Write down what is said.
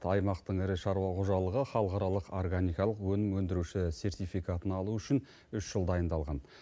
аймақтың ірі шаруа қожалығы халықаралық органикалық өнім өндіруші сертификатын алу үшін үш жыл дайындалған